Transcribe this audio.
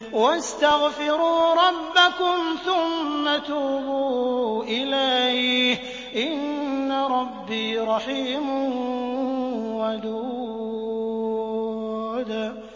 وَاسْتَغْفِرُوا رَبَّكُمْ ثُمَّ تُوبُوا إِلَيْهِ ۚ إِنَّ رَبِّي رَحِيمٌ وَدُودٌ